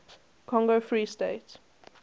congo free state